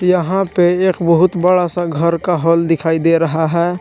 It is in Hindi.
यहां पे एक बहुत बड़ा सा घर का हॉल दिखाई दे रहा है।